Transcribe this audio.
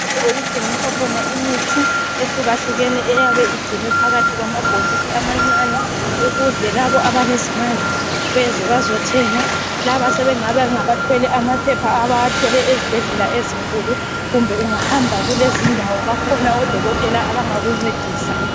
Okuthengiswa khona imithi, ehlukehlukeneyo. Eyabe igcinwe phakathi kwamabhokisi amancane. Ukuze labo abalezimali beze bazothenga. Labo sebengabe, bengabathwele amaphepha abawathole ezibhedlela ezinkulu. Kumbe ungahamba, kulezindawo, bakhona odokotela, abangakuncedisa.